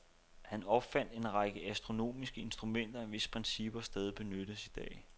Han opfandt en række astronomiske instrumenter, hvis principper stadig benyttes i dag.